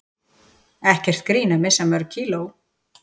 Ekkert grín að missa mörg kíló